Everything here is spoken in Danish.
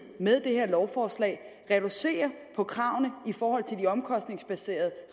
med det her lovforslag reducerer på kravene i forhold til de omkostningsbaserede